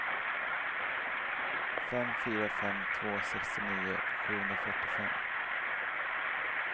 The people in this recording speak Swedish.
fem fyra fem två sextionio sjuhundrafyrtiofem